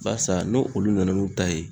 Barisa n'o olu nana n'u ta ye